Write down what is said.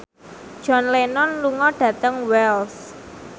John Lennon lunga dhateng Wells